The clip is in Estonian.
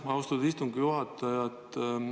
Aitäh, austatud istungi juhataja!